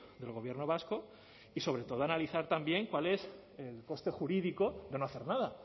del gobierno vasco y sobre todo analizar también cuál es el coste jurídico de no hacer nada